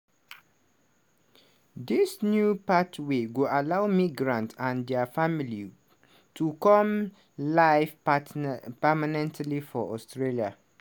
dis new pathway go allow migrants and dia families to come live permanently for australia.